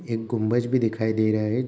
एक गुम्बज भी दिखाई दे रहा है।